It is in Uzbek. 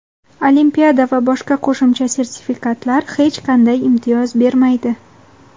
Olimpiada va boshqa qo‘shimcha sertifikatlar hech qanday imtiyoz bermaydi.